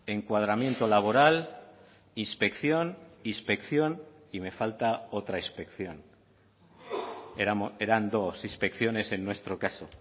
encuadramiento laboral inspección inspección y me falta otra inspección eran dos inspecciones en nuestro caso